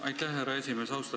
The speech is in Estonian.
Aitäh, härra esimees!